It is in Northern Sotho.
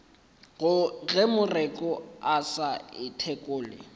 ge moreku a sa ithekole